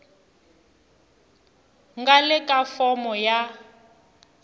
nga le ka fomo ya